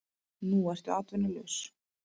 Nú ertu atvinnulaus.